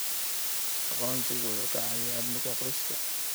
Aqoonsigu wuxuu caawiyaa amniga qoyska.